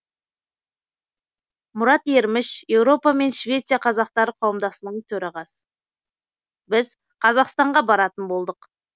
мұрат ерміш еуропа мен швеция қазақтары қауымдастығының төрағасы біз қазақстанға баратын болдық